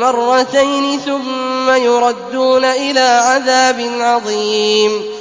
مَّرَّتَيْنِ ثُمَّ يُرَدُّونَ إِلَىٰ عَذَابٍ عَظِيمٍ